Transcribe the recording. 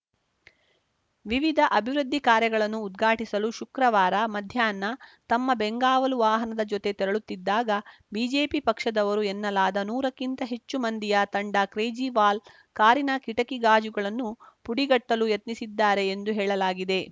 ವಿವಿಧ ಅಭಿವೃದ್ಧಿ ಕಾರ್ಯಗಳನ್ನು ಉದ್ಘಾಟಿಸಲು ಶುಕ್ರವಾರ ಮಧ್ಯಾಹ್ನ ತಮ್ಮ ಬೆಂಗಾವಲು ವಾಹನದ ಜೊತೆ ತೆರಳುತ್ತಿದ್ದಾಗ ಬಿಜೆಪಿ ಪಕ್ಷದವರು ಎನ್ನಲಾದ ನೂರಕ್ಕಿಂತ ಹೆಚ್ಚು ಮಂದಿಯ ತಂಡ ಕೇಜ್ರಿವಾಲ್‌ ಕಾರಿನ ಕಿಟಕಿ ಗಾಜುಗಳನ್ನು ಪುಡಿಗಟ್ಟಲು ಯತ್ನಿಸಿದ್ದಾರೆ ಎಂದು ಹೇಳಲಾಗಿದೆ